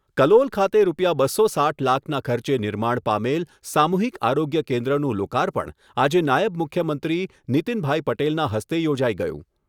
કલોલ ખાતે રૂપિયા બસો સાઈઠ લાખના ખર્ચે નિર્માણ પામેલ સામુહિક આરોગ્ય કેન્દ્રનું લોકાર્પણ આજે નાયબ મુખ્યમંત્રી નિતિનભાઈ પટેલના હસ્તે યોજાઈ ગયું.